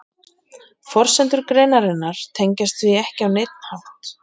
Forsendur greinarinnar tengjast því ekki á neinn hátt.